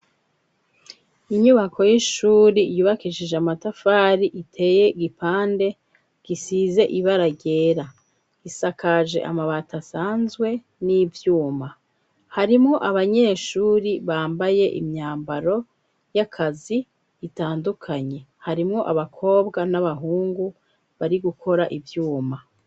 Inyubako y'ishuri yubakishije amatafari, iteye gipande gisize ibara ryera. Isakaje amabati asanzwe n'ivyuma. Harimwo abanyeshuri bambaye imyambaro y'akazi itandukanye. Harimwo abakobwa n'abahungu bari gukora ivyuma.